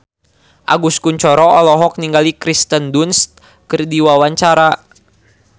Agus Kuncoro olohok ningali Kirsten Dunst keur diwawancara